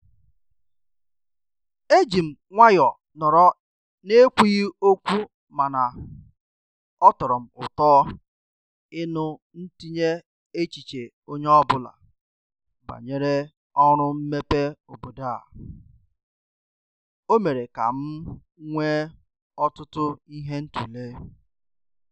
E jị m nwayo nọrọ n'ekwughị okwu mana ọ tọrọ m ụtọ ịnụ ntinye echiche onye ọbụla banyere oru mmepe obodo a. O mere ka m nwee ọtụtụ ihe ịtụle."